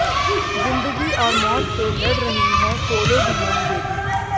जिन्दगी और मौत से लड़ रही है कोलोडीयन बेबी